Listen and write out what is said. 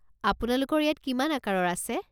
আপোনালোকৰ ইয়াত কিমান আকাৰৰ আছে?